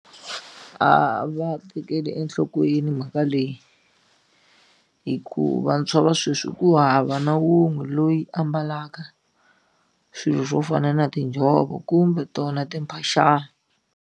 A va tekeli enhlokweni mhaka leyi hi ku vantshwa va sweswi ku hava na wun'we loyi ambalaka swilo swo fana na tinjhovo kumbe tona timphaxana.